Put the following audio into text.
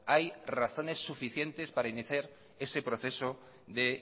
hay razones suficientes para iniciar ese proceso de